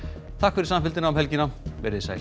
takk fyrir samfylgdina um helgina verið þið sæl